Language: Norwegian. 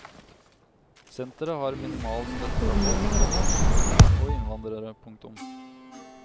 Senteret har minimal støtte fra folk, komma nordmenn og innvandrere. punktum